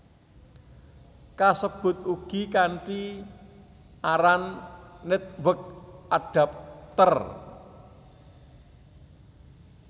Kasebut ugi kanthi aran Network Adapter